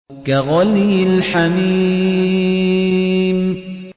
كَغَلْيِ الْحَمِيمِ